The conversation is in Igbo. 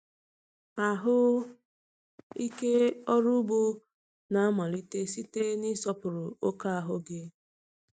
Ahụ ike ọrụ ugbo na-amalite site n’ịsọpụrụ oke ahụ gị.